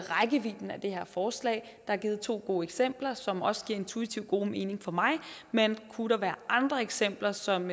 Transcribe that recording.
det her forslag der er givet to gode eksempler som også intuitiv giver god mening for mig men kunne der være andre eksempler som